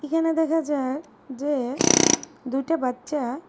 এইখানে দেখা যায় যে দুইটা বাচ্চা--